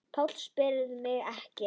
PÁLL: Spyrjið mig ekki.